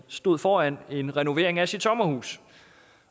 stod foran en renovering af sit sommerhus